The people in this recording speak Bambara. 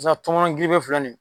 Pasa tɔŋɔnɔn gife filɛ ni